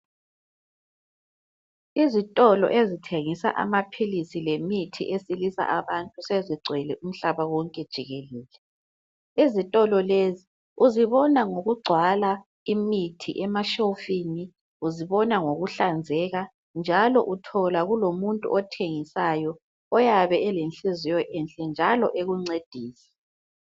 Ezitolo ezithengisa amaphilisi lemithi wesilisa abantu sezigcwele umhlaba wonke jikelele , izitolo lezi uzibona ngokugcwala imithi emashelufini , uzibona ngokuhlanzeka njalo uthola kulomuntu othengisayo oyabe elenhliziyo enhle njalo ekuncedisa